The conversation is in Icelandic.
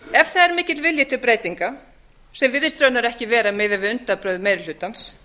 ef það er mikill vilji til breytinga sem virðist raunar ekki vera miðað við undanbrögð meiri hlutans